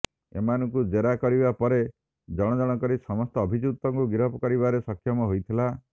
ଏମାନଙ୍କୁ ଜେରା କରିବା ପରେ ଜଣଜଣ କରି ସମସ୍ତ ଅଭିଯୁକ୍ତଙ୍କୁ ଗିରଫ କରିବାରେ ସକ୍ଷମ ହୋଇଥିଲା